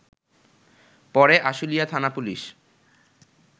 পরে আশুলিয়া থানা পুলিশ